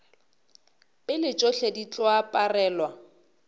pele tšohle di tlo aparelwa